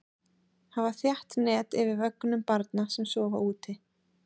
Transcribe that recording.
Hafa þétt net yfir vögnum barna sem sofa úti.